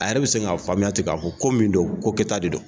A yɛrɛ bɛ se k'a faamuya ten k'a fɔ ko min don ko kɛta de dɔn